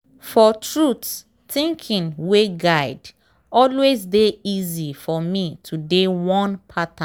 for truth thinking way guide always dey easy for me to dey one pattern.